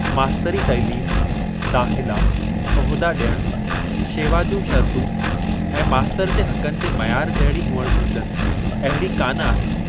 मास्तरी तइलीम, दाख़िला, उहिदा ॾियण, शेवा जूं शर्तूं ऐं मास्तर जे हक़नि जे मयार जहिड़ी हुअणु घुरिजनि, अहिड़ी कान आहिनि।